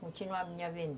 Continuar a minha venda.